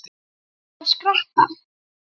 Þarft þú að skreppa?